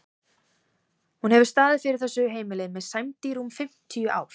Hún hefur staðið fyrir þessu heimili með sæmd í rúm fimmtíu ár.